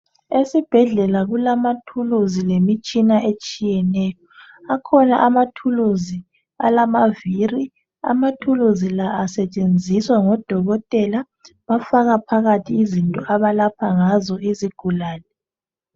Esibhedlela kulama tool lemitshina etshiyeneyo akhona ama tools alamaviri ama tools la asetshenziswa ngodokotela bafaka phakathi izinto abalapha ngazo izigulane.